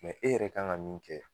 e yɛrɛ ka kan ka min kɛ